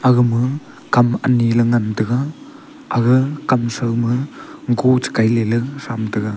agama kam anyi le ngan taiga aga kam chrow ma go chekailey thram taiga.